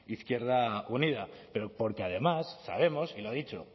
izquierda unida pero porque además sabemos y lo ha dicho